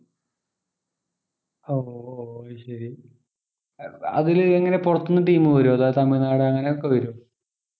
ഓഹ് അയ്‌ശെരി അഹ് അതില് എങ്ങനെയാ പൊറത്തൂന്ന് team വരുവോ അതായത് തമിഴ്‌നാട് അങ്ങനെ ഒക്കെ വരുവോ